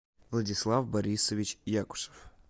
владислав борисович якушев